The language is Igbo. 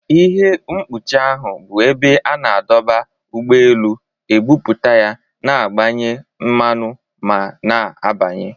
Ihe mkpuchi ahụ bụ ebe a na-adọba ụgbọ elu, ebutu ya, na-agbanye mmanụ ma na-abanye.